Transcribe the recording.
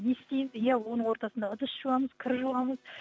не істеймін иә оның ортасында ыдыс жуамыз кір жуамыз